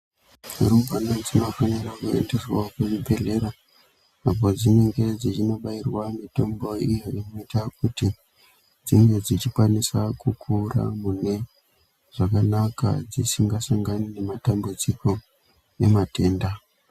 Rumbwane dzinopera kuendeswawo kuchibhehlera apo padzinenge dzeindobairwa mutombo iyo inoita kuti dzinge dzikwanisa kukura mune zvakanaka dzisingasangani nematambudziko nematenda.